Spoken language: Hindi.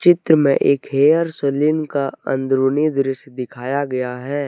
चित्र में एक हेयर सैलून का अंदरूनी दृश्य दिखाया गया है।